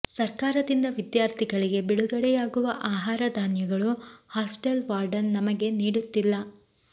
ಸರ್ಕಾರದಿಂದ ವಿದ್ಯಾರ್ಥಿಗಳಿಗೆ ಬಿಡುಗಡೆಯಾಗುವ ಆಹಾರ ಧಾನ್ಯಗಳು ಹಾಸ್ಟೆಲ್ ವಾರ್ಡನ್ ನಮಗೆ ನೀಡುತ್ತಿಲ್ಲ